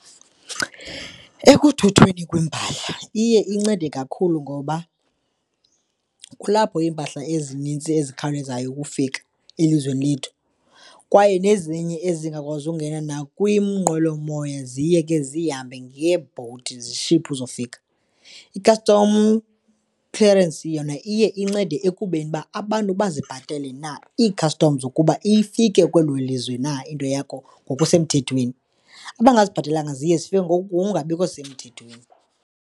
Ekuthuthweni kweempahla iye incede kakhulu ngoba kulapho iimpahla ezinintsi ezikhawulezayo ukufika elizweni lethu kwaye nezinye ezingakwazi ukungena nakwiinqwelomoya ziye ke zihambe nge-boat, zishiphwe uzofika. I-custom clearance yona iye incede ekubeni uba abantu bazi ibhatale na ii-customs ukuba ifike kwelo lizwe na into yakho ngokusemthethweni. Abangazibhatelanga ziye zifeke ngokungabikho semthethweni.